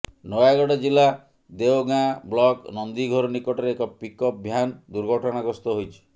ନୟାଗଡ ଜିଲ୍ଲା ଓଡଗାଁ ବ୍ଳକ ନନ୍ଦିଘୋର ନିକଟରେ ଏକ ପିକଅପ୍ ଭ୍ୟାନ ଦୁର୍ଘଟଣାଗ୍ରସ୍ତ ହୋଇଛି